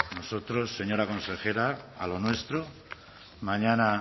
nosotros señora consejera a lo nuestro mañana